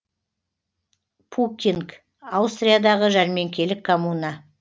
пуккинг аустриядағы жәрмеңкелік коммуна